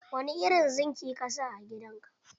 Wani irin zingi ka sa a gidan ka?